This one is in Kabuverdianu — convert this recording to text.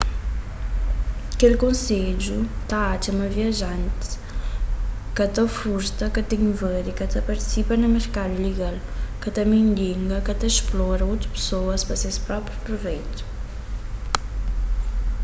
kel konsedju ta atxa ma viajantis ka ta furta ka ta invadi ka ta partisipa na merkadu ilegal ka ta mendiga ka ta splora otu pesoas pa ses própi pruveitu